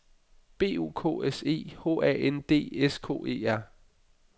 B O K S E H A N D S K E R